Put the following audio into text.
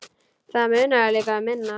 Það munaði líka um minna.